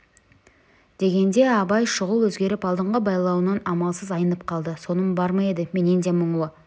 дегенде абай шұғыл өзгеріп алдыңғы байлауынан амалсыз айнып қалды соным бар ма еді менен де мұңлы